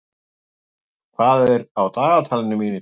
Hlölli, hvað er á dagatalinu mínu í dag?